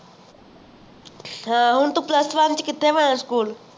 ਹਾਂ ਹੁਣ ਤੂੰ plus one ਚ ਕਿਥੇ ਮਿਲਣਾ school